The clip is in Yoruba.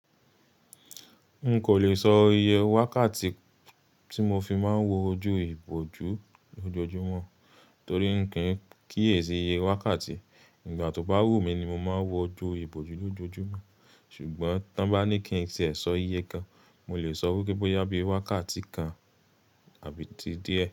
N kò lè sọ iye wákàtí tí mo fi máa ń wo ojú ìbòjú lójoojúmọ́, torí n kì í kíyèsi iye wákàtí. Nígbà tó bá wù mí ni mo máa ń wo ojú ìbòjú lójoojúmọ́. Ṣùgbọ́n tan bá ní kí n ti e sọ iye kan, mo lè sọ wípé bóyá bí i wákàtí kan àbí ti díẹ̀.